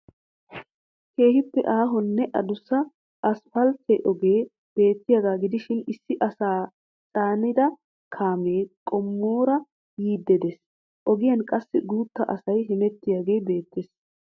Keehiippe aahonne adussa asphaltte ogee beettiyaagaa gidishin Issi asaa caanida kaamee qimoora yiidi dees. Ogiyaan qassi gutta asay hemettiyaagee beettees.